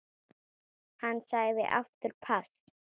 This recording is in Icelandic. Hann sagði aftur pass.